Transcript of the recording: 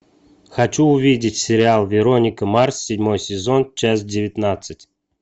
хочу увидеть сериал вероника марс седьмой сезон часть девятнадцать